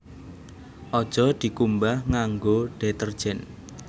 Aja dikumbah nganggo detergen